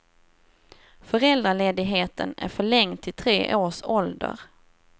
Föräldraledigheten är förlängd till tre års ålder.